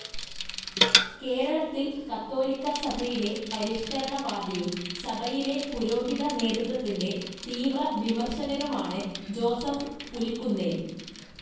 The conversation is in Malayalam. കേരളത്തിൽ കത്തോലിക്കാസഭയിലെ പരിഷ്ക്കരണവാദിയും സഭയിലെ പുരോഹിതനേതൃത്വത്തിൻ്റെ തീവ്രവിമർശകനുമാണ് ജോസഫ് പുലിക്കുന്നേൽ.